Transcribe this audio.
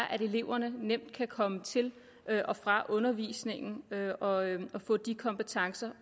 at eleverne nemt kan komme til og fra undervisningen og få de kompetencer